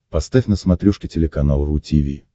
поставь на смотрешке телеканал ру ти ви